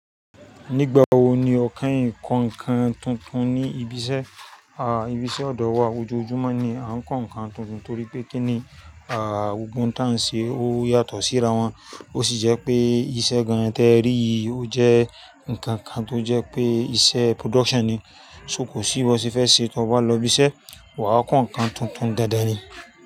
Nígbà wo ni ọ keyin ko ǹkan tuntun ní ibi iṣẹ́? Àá, ibi iṣẹ́ ọ̀dọ̀ wa ojoojúmọ́ ni à ń ko ǹkan tuntun torí pé kíni, àá, gbogbo tá ń ṣe ó yàtọ̀ sí ara wọn. Ó sì jẹ́ pé iṣẹ́ gan-an tí ẹ rí yìí ó jẹ́ ǹkan kan tó jẹ́ pé iṣẹ́ production ni. So kò síbọ́ ṣe fẹ́ ṣe, tí o bá lọ ibi iṣẹ́, wà á ko ǹkan tuntun dáadáa ni.